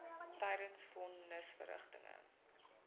tydens von nisverrigtinge